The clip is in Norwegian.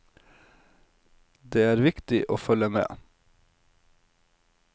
Det er viktig å følge med.